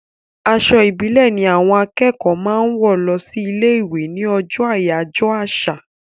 Aṣọ ìbílẹ̀ ni àwọn akẹ́kọ̀ọ́ máa ń wọ̀ lọ sí ilé-ìwé ní ọjọ́ àyájọ́ àṣà.